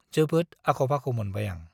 जोबोद आख' -फाख' मोनबाय आं ।